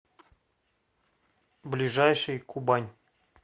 ближайший кубань